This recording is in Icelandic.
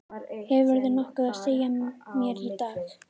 Hefurðu nokkuð að segja mér í dag?